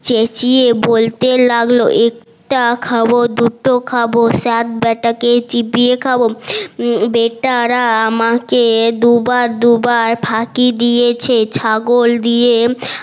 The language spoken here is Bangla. চেচিয়ে বলতে লাগলো একটা খাবো দুটা খাবো সাত বেটা কে চিবিয়ে খাবো বেটারা আমাকে দুবার দুবার ফাকি দিয়েছে ছাগল দিয়ে